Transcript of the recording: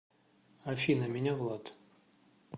афина меня влад